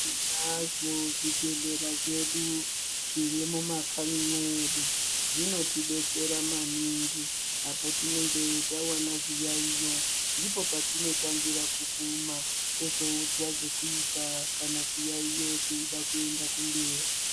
Tinazvo zvibhedhlera zvedu zvirimumakanyi medu zvinotidetsera maningi apo tinenge tawana zviyaiyo ndipo patinotangira kuguma, tozoudzwa zvekuita kana chiyaiyo cheida kuenda kumberi.